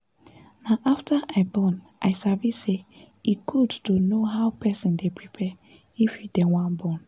na after i born i sabi say e good to know how person dey prepare if you dey wan born